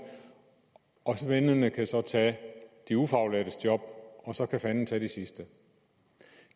og svendene kan tage de ufaglærtes job og så kan fanden tage de sidste